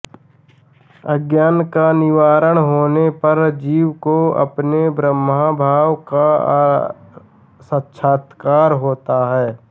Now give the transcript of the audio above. अज्ञान का निवारण होने पर जीव को अपने ब्रह्मभाव का साक्षात्कार होता है